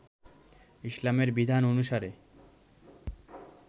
ইসলামের বিধান অনুসারে,